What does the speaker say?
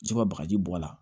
Se ka bagaji bɔ a la